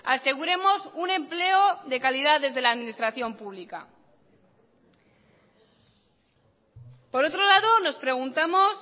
aseguremos un empleo de calidad desde la administración pública por otro lado nos preguntamos